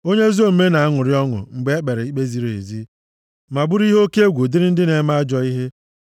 Onye ezi omume na-aṅụrị ọṅụ mgbe e kpere ikpe ziri ezi, ma bụrụ ihe oke egwu dịrị ndị na-eme ajọ ihe.